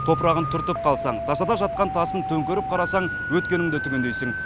топырағын түртіп қалсаң тасада жатқан тасын төңкеріп қарасаң өткеніңді түгендейсің